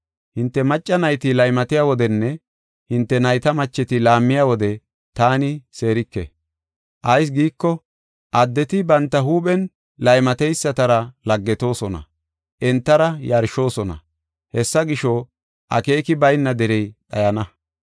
Hinte macca nayti laymatiya wodenne hinte nayta macheti laammiya wode taani seerike. Ayis giiko, addeti banta huuphen laymateysatara laggetoosona; entara yarshoosona. Hessa gisho, akeeki bayna derey dhayana.